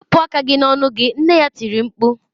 Wepụ aka gị n'ọnụ gị! nne ya tiri mkpu.